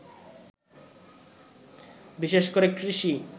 বিশেষ করে কৃষি